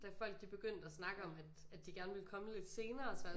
Da folk de begyndte at snakke om at folk de at de gerne ville komme lidt senere